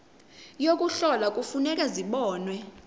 yokuhlola kufuneka zibonwe